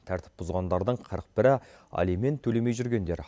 тәртіп бұзғандардың қырық бірі алимент төлемей жүргендер